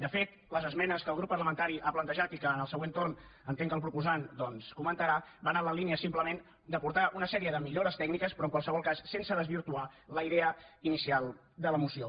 de fet les esmenes que el grup parlamentari ha plantejat i que en el següent torn entenc que el proposant comentarà van en la línia simplement d’aportar una sèrie de millores tècniques però en qualsevol cas sense desvirtuar la idea inicial de la moció